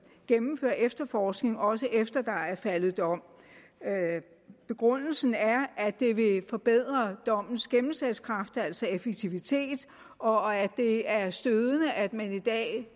gennemføre efterforskning også efter at der er faldet dom begrundelsen er at det vil forbedre dommens gennemslagskraft altså effektivitet og at det er stødende at man i dag